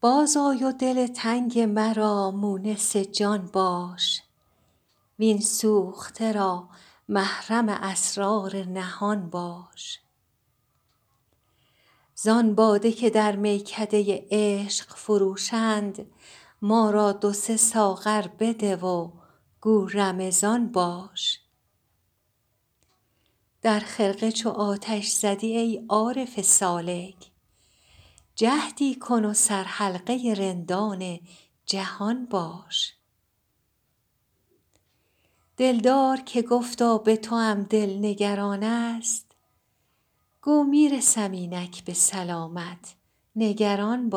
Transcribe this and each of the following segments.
باز آی و دل تنگ مرا مونس جان باش وین سوخته را محرم اسرار نهان باش زان باده که در میکده عشق فروشند ما را دو سه ساغر بده و گو رمضان باش در خرقه چو آتش زدی ای عارف سالک جهدی کن و سرحلقه رندان جهان باش دلدار که گفتا به توام دل نگران است گو می رسم اینک به سلامت نگران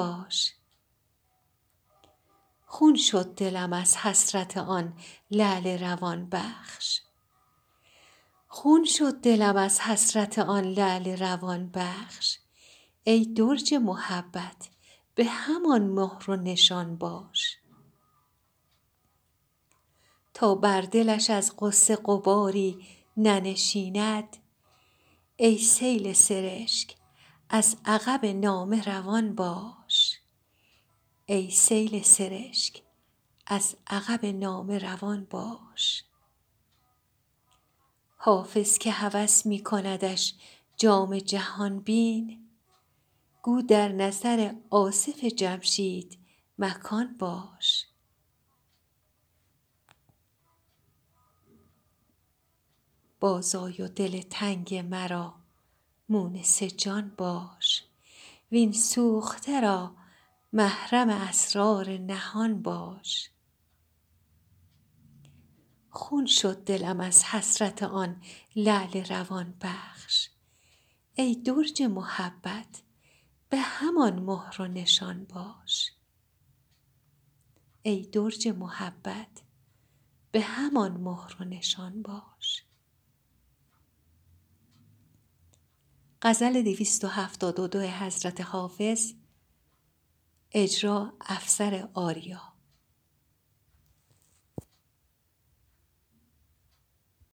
باش خون شد دلم از حسرت آن لعل روان بخش ای درج محبت به همان مهر و نشان باش تا بر دلش از غصه غباری ننشیند ای سیل سرشک از عقب نامه روان باش حافظ که هوس می کندش جام جهان بین گو در نظر آصف جمشید مکان باش